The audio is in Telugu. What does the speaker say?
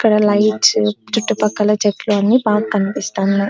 ఇక్కడ లైట్స్ చుట్టూ పక్కన చెట్లు అన్ని బాగా కనిపిస్తున్నాయ్.